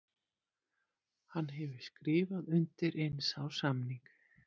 Hann hefur skrifað undir eins árs samning.